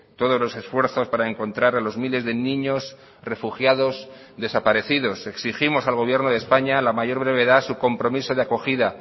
todos los esfuerzos para encontrar a los miles de niños refugiados desaparecidos exigimos al gobierno de españa a la mayor brevedad su compromiso de acogida